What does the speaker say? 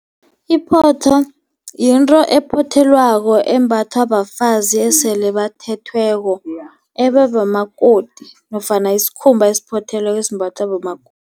Iphotho yinto ephothelwako embathwa bafazi esele bathethweko ababomakoti nofana isikhumba esiphothelweko esimbathwa bomakoti.